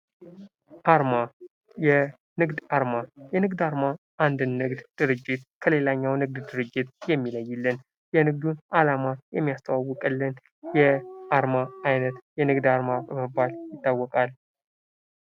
አርማ፤ የንግድ አርማ፦ የንግድ አርማ አንድን ንግድ ድርጂት ከሌላግኛው ንግድ ድርጂት የሚለይልን፣ የንግዱን አላማ የሚያስተዋውቅልን የአርማ አይነት የንግድ አርማ በመባል ይታወቃል።